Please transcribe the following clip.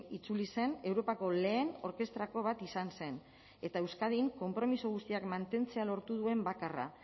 itzuli zen europako lehen orkestrako bat izan zen eta euskadin konpromezu guztiak mantentzea lortu duen bakarra